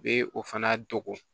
U bɛ o fana dogo